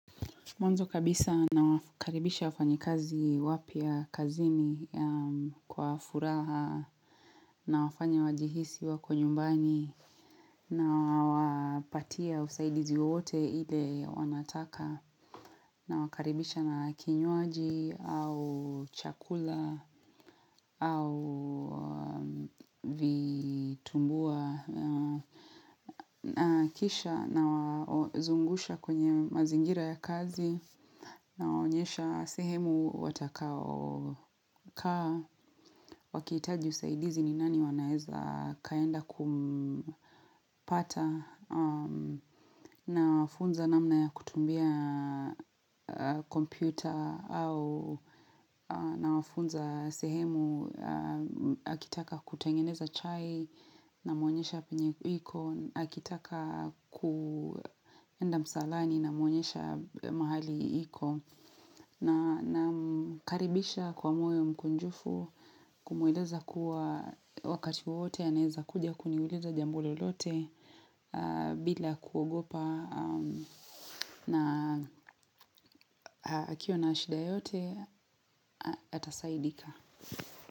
Mwanzo kabisa nawakaribisha wafanyikazi wapya kazini kwa furaha nawafanya wajihisi wako nyumbani nawapatia usaidizi wote ile wanataka nawakaribisha na kinywaji au chakula au vitumbua. Na kisha nawazungusha kwenye mazingira ya kazi nawaonyesha sehemu watakaokaa wakihitaji usaidizi ni nani wanaeza kaenda kumpata nawafunza namna ya kutumia kompyuta nawafunza sehemu akitaka kutengeneza chai namwonyesha penye iko akitaka kuenda msalani namuonyesha mahali iko namkaribisha kwa moyo mkunjufu kumweleza kuwa wakati wowote anaeza kuja kuniuliza jambo lolote bila kuogopa na akiwa na shida yoyote atasaidika.